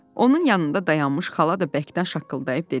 Onun yanında dayanmış xala da bəkdən şaqqıldayıb dedi: